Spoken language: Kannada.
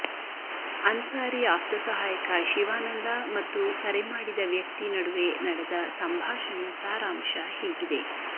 ಅನ್ಸಾರಿ ಆಪ್ತ ಸಹಾಯಕ ಶಿವಾನಂದ ಮತ್ತು ಕರೆ ಮಾಡಿದ ವ್ಯಕ್ತಿ ನಡುವೆ ನಡೆದ ಸಂಭಾಷಣೆಯ ಸಾರಾಂಶ ಹೀಗಿದೆ